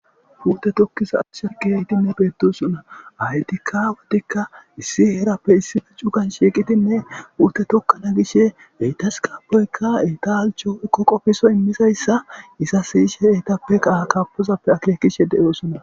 Huute tokkisa asha geeytinne beedosonna aytikka watikka issi heerappe issife cugan shiiqitinne uute tokkana gishshe eytas kaapoyka etaalcho koqofiso immisayssa isa siyishe eyitappe kaha kapozappe akeekishe de7oosona.